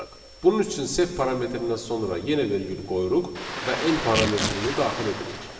Bunun üçün sep parametindən sonra yenə vergül qoyuruq və n parametrini daxil edirik.